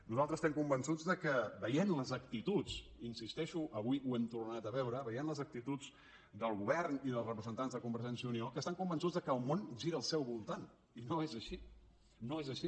nosaltres estem convençuts veient les actituds hi insisteixo avui ho hem tornat a veure del govern i dels representants de convergència i unió que estan convençuts que el món gira al seu voltant i no és així no és així